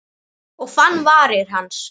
Og fann varir hans.